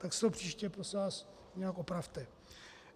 Tak si to příště prosím vás nějak opravte.